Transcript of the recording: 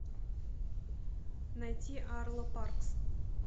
найди арло паркс